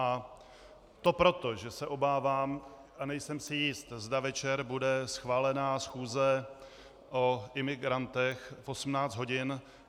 A to proto, že se obávám a nejsem si jist, zda večer bude schválena schůze o imigrantech v 18 hodin.